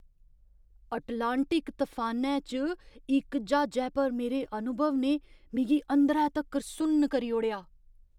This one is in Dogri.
अटलांटिक तफानै च इक ज्हाजै पर मेरे अनुभव ने मिगी अंदरै तक्कर सुन्न करी ओड़ेआ!